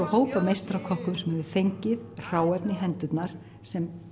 hóp af meistarakokkum sem hefur fengið hráefni í hendurnar sem